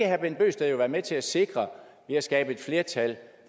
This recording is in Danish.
herre bent bøgsted jo være med til at sikre ved at skabe et flertal